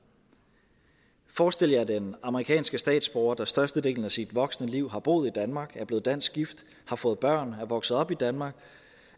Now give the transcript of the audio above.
forestil jer at den amerikanske statsborger der størstedelen af sit voksne liv har boet i danmark er blevet dansk gift har fået børn er vokset op i danmark